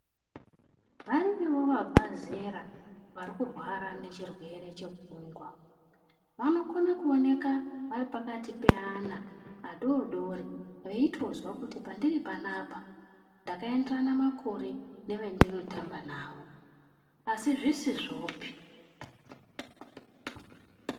Variyowo vabva zera vari kurwara nechirwere chepfumgwa vanokona kuonekwa varipaakati peana vadodori veitozwa kuti pandiri panapa ndakaenderana makore nevandotamba nawo asi zvizvopi.